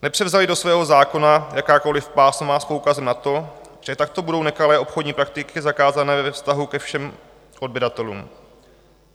Nepřevzali do svého zákona jakákoliv pásma s poukazem na to, že takto budou nekalé obchodní praktiky zakázané ve vztahu ke všem odběratelům.